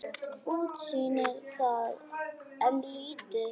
Útsýnið var enn lítið.